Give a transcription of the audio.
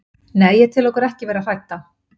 Nei, ég tel okkur ekki vera hrædda.